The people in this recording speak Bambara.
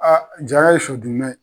Aa Jara ye sɔ dunna ye.